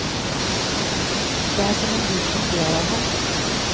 Det er som om vinden ler av ham.